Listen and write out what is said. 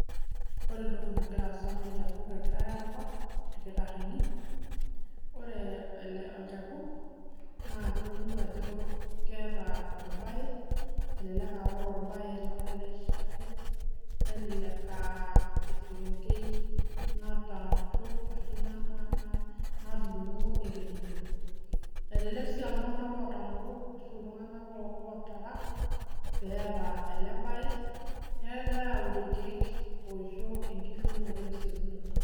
ore entoki nagira aasa naa olcharkuk egirae aabak ebaiki naa ore orbaye onoto ele sharkuk naa elelek aa esekengei natoosho ashu naibunga ekedito elelk sii aa iltunganak ootangoro neeku naa irkeek ishoritae